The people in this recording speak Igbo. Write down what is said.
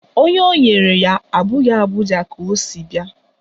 Onye o nyere ya abụghị Abuja ka o si bia